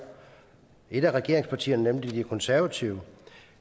et af regeringspartierne nemlig de konservative